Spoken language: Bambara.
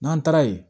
N'an taara ye